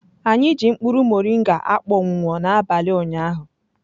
Anyị ji mkpụrụ moringa akpọnwụwo n'abalị ụnyaahụ.